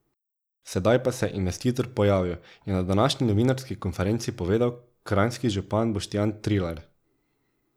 Sedaj pa se je investitor pojavil, je na današnji novinarski konferenci povedal kranjski župan Boštjan Trilar.